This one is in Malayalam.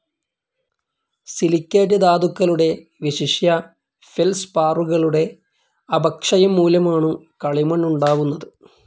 സിലിക്കേറ്റ്‌ ധാതുക്കളുടെ, വിശിഷ്യ, ഫെൽസ്പാറുകളുടെ, അപക്ഷയംമൂലമാണു കളിമണ്ണുണ്ടാവുന്നത്.